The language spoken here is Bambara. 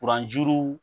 Kuran juru